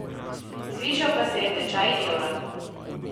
Zvišal pa se je tečaj evra.